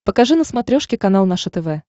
покажи на смотрешке канал наше тв